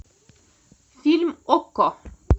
фильм окко